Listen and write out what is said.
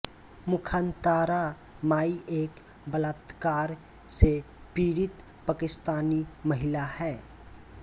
मुख़्तारां माई एक बलात्कार से पीड़ित पाकिस्तानी महिला है